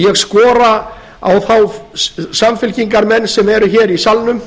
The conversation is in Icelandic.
ég skora á þá samfylkingarmenn sem eru hér í salnum